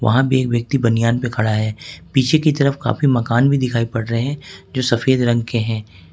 वहां भी एक व्यक्ति बनियान में खड़ा है पीछे की तरफ काफी मकान भी दिखाई पड़ रहे हैं जो सफेद रंग के हैं।